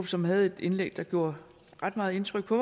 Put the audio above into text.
som havde et indlæg der gjorde ret meget indtryk på